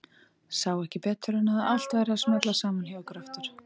Sá ekki betur en að allt væri að smella saman hjá ykkur aftur.